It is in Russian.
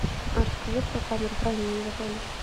расскажи про камеру хранения в отеле